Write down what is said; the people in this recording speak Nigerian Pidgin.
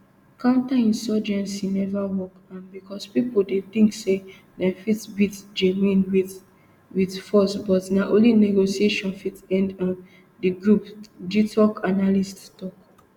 counterinsurgency neva work um becos pipo dey tink say dem fit beat jnim wit wit force but na only negotiation fit end um di group gitoc analyst tok